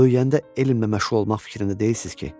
Böyüyəndə elmlə məşğul olmaq fikrində deyilsiz ki?